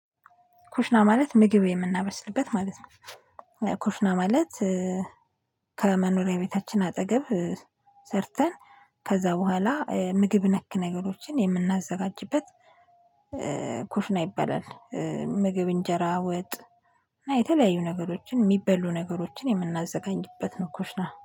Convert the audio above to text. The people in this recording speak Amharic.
ኩሽና ማለት ምግብ የምናበስልበት ማለት ነው። ኩሽና ማለት ከመኖሪያ ቤታችን አጠገብ ሰርተን ከዛ በኋላ ምግብ ነክ ነገሮችን የምናዘጋጅበት ኩሽና ይባላል። ምግብ እንጀራ ወጥ እና የተለያዩ ነገሮችን የሚበሉ ነገሮችን የምናዘጋኝበት ነው። ኩ ሽና